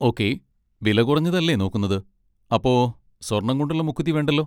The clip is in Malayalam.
ഓക്കേ, വിലകുറഞ്ഞത് അല്ലേ നോക്കുന്നത്, അപ്പൊ സ്വർണ്ണം കൊണ്ടുള്ള മൂക്കുത്തി വേണ്ടല്ലോ.